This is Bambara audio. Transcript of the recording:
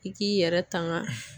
I k'i yɛrɛ tanga.